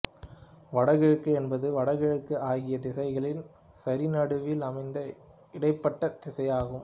வடகிழக்கு என்பது வடக்கு கிழக்கு ஆகிய திசைகளின் சரிநடுவில் அமைந்த இடைப்பட்ட திசையாகும்